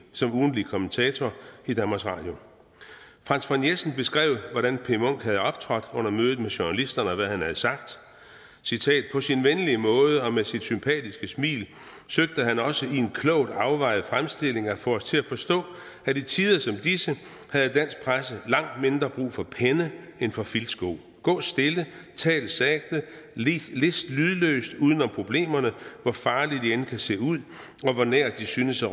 som ugentlig kommentator i danmarks radio franz von jessen beskrev hvordan p munch havde optrådt under mødet med journalisterne og hvad han havde sagt på sin venlige måde og med sit sympatiske smil søgte han også i en klogt afvejet fremstilling at få os til at forstå at i tider som disse havde dansk presse langt mindre brug for penne end for filtsko gå stille tal sagte list list lydløst uden om problemerne hvor farlige de end kan se ud og hvor nær de synes at